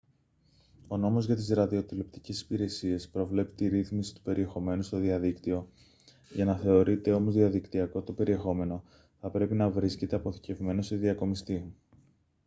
ο νόμος για τις ραδιοτηλεοπτικές υπηρεσίες προβλέπει τη ρύθμιση του περιεχομένου στο διαδίκτυο για να θεωρείται όμως διαδικτυακό το περιεχόμενο θα πρέπει να βρίσκεται αποθηκευμένο σε διακομιστή